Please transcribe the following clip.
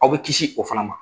Aw bɛ kisi o fana ma